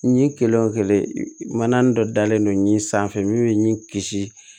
Ɲin kelen o kelen mana dɔ dalen don ɲin sanfɛ min bɛ ɲin kisi